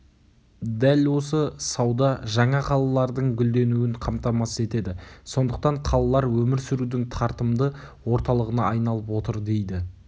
дәл осы сауда жаңа қалалардың гүлденуін қамтамасыз етеді сондықтан қалалар өмір сүрудің тартымды орталығына айналып отыр дейді